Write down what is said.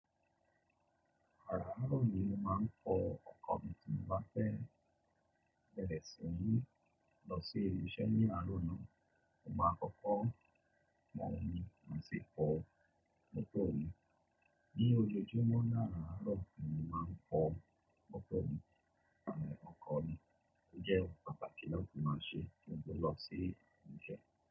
Àràárọ̀ ni mo máa ń fọ ọkọ̀ mi tí mo bá fẹ́ bẹ̀rẹ̀ sí ní lọ sí ibi ise ní àárọ̀ náà. Mo máa kọ́kọ́ pon omì, máa sì fọ mọ́tò mi. Ní ojoojúmọ́ ni àràárọ̀ ni mo máa ń fọ mọ́tò mi tàbí ọkọ̀ mi. Ó jẹ́ oun pataki lati máa ṣe kí n tó lọ sí ibi ise.